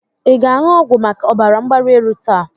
Ị ga-aṅụ ọgwụ maka ọbara mgbali elu taa?